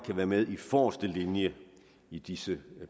være med i forreste linje i disse